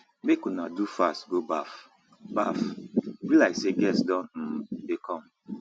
make una do fast go baff baff e be like say guest don um dey come